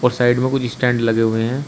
और साइड में कुछ स्टैंड लगे हुए हैं।